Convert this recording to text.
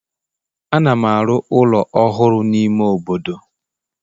Ana m arụ ụlọ ọhụrụ n'ime obodo